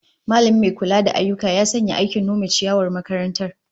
Mallamin mai kula da ayyuka ya sanya ayyukan nome ciyawar makarantar